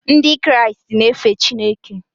Ndị Kraịst na-efe Chineke.